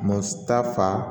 Ma ta fa